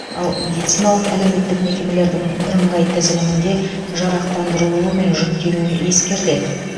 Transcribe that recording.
ал медициналық әлеуметтік мекемелердің бірыңғай тізілімінде жарақтандырылуы мен жүктелуі ескеріледі